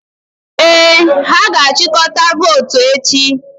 Ee, ha ga-achịkọta votu echi.